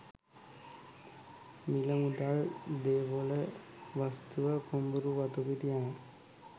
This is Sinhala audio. මිල මුදල්, දේපොළ වස්තුව, කුඹුරු වතුපිටි යන